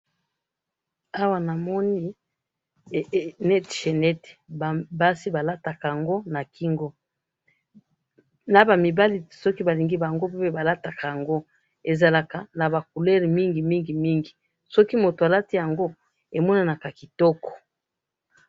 awa namoni chainette basi balataka yango na kingo naba mobali soki balingi yango balataka yango ezalaka naba couleurs mingi mingi mingi soki mtu alati yango emonaka kitoko